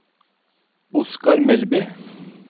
Oskar Melby